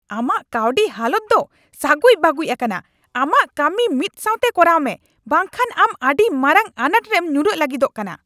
ᱟᱢᱟᱜ ᱠᱟᱹᱣᱰᱤ ᱦᱟᱞᱚᱛ ᱫᱚ ᱥᱟᱹᱜᱩᱡ ᱵᱟᱹᱜᱩᱡ ᱟᱠᱟᱱᱟ ! ᱟᱢᱟᱜ ᱠᱟᱹᱢᱤ ᱢᱤᱫ ᱥᱟᱶᱛᱮ ᱠᱚᱨᱟᱣ ᱢᱮ ᱵᱟᱝ ᱠᱷᱟᱱ ᱟᱢ ᱟᱹᱰᱤ ᱢᱟᱨᱟᱝ ᱟᱱᱟᱴ ᱨᱮᱢ ᱧᱩᱨᱚᱜ ᱞᱟᱹᱜᱤᱫᱚᱜ ᱠᱟᱱᱟ ᱾